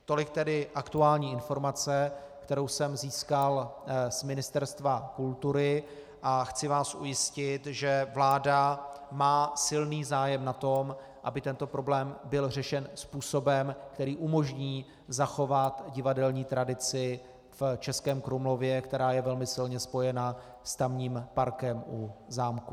Tolik tedy aktuální informace, kterou jsem získal z Ministerstva kultury, a chci vás ujistit, že vláda má silný zájem na tom, aby tento problém byl řešen způsobem, který umožní zachovat divadelní tradici v Českém Krumlově, která je velmi silně spojena s tamním parkem u zámku.